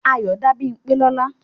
Ayọ dá Bímpé lọ́nà.